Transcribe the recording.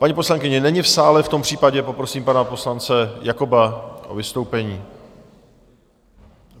Paní poslankyně není v sále, v tom případě poprosím pana poslance Jakoba o vystoupení.